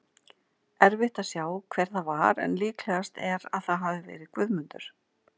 Erfitt að sjá hver það var en líklegast er að það hafi verið Guðmundur.